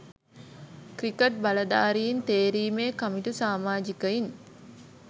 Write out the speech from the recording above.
cricket බලධාරීන් තේරීම් කමිටු සාමාජිකයන්